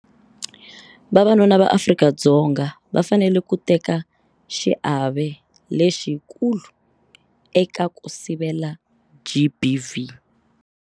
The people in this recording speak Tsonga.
Vavanuna va Afrika-Dzonga va fanele ku teka xiave lexikulu eka ku sivela GBV.